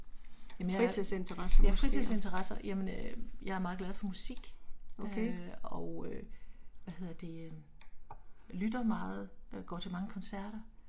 Jamen jeg, ja fritidsinteresser, jamen øh jeg er meget glad for musik øh, og øh hvad hedder det. Lytter meget øh, går til mange koncerter